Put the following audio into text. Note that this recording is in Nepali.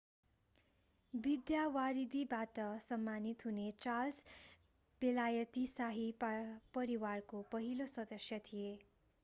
विद्यावारिधीबाट सम्मानित हुने चार्ल्स बेलायती शाही परिवारको पहिलो सदस्य थिए